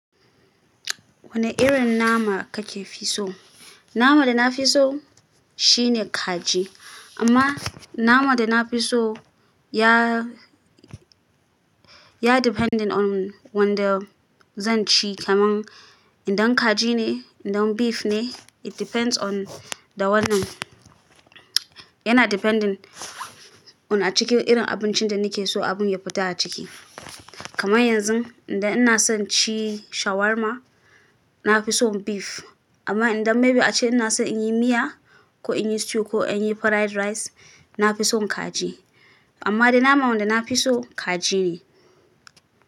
Wane irin nama kake fi so? Nama da na fi so shine kaji. Amma nama da na fi so ya, ya depending on wanda zan ci kaman idan kaji ne, idan beef ne, it depends on da wannan. Yana depending on a ciki irin abincin da nake so abun ya fita a ciki. Kama yanzun inda ina son ci shawarma, na fi son beef. Amma indan maybe ace ina son in yi miya ko in yi stew ko in yi fried rice, na fi son kaji. Amma de nama wanda na fi so kaji ne.